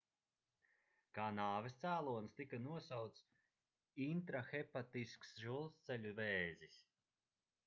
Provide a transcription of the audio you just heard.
kā nāves cēlonis tika nosaukts intrahepatisks žultsceļu vēzis